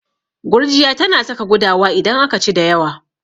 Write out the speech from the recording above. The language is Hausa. Gurjiya tana saka gudawa idan aka ci da yawa.